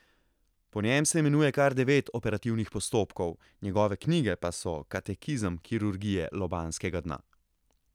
Po njem se imenuje kar devet operativnih postopkov, njegove knjige pa so katekizem kirurgije lobanjskega dna.